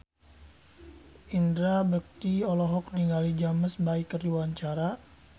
Indra Bekti olohok ningali James Bay keur diwawancara